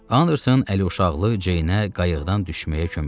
Anderson əluşaqlı Ceynə qayıqdan düşməyə kömək etdi.